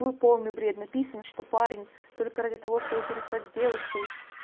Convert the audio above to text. был полный бред написано что парень только ради того чтобы переспать с девушкой